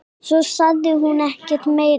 Svo sagði hún ekkert meira.